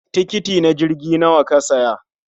Tikiti na jirgi nawa ka siya?